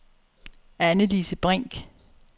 Anne-Lise Brink